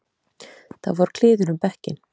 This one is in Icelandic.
Það fór kliður um bekkinn.